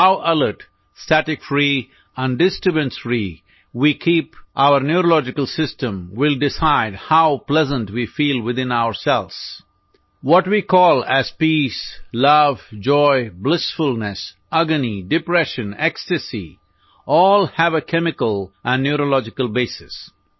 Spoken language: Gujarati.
હોવ alert static free and disturbance free we keep neurological system will decide how pleasant we feel within ourselves what we call as peace love joy blissfulness agony depression ecstasies all have a chemical and neurological basis